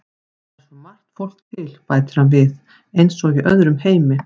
Það er svo margt fólk til, bætir hann við, eins og í öðrum heimi.